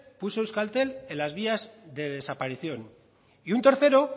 puso euskaltel en las vías de desaparición y un tercero